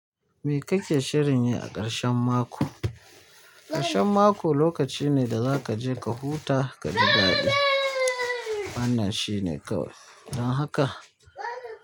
Me kake shirin yi a ƙarshen mako? Ƙarshen mako lokaci ne da zaka je ka huta, ka ji daɗi. Wannan shine kawai. Don haka.